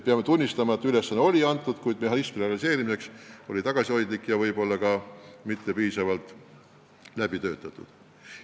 Peame tunnistama, et ülesanne oli antud, kuid mehhanism selle realiseerimiseks oli tagasihoidlik ja ehk ka mitte piisavalt läbi töötatud.